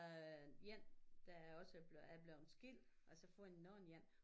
Øh én der er også er blevet skilt og så har fået en ny én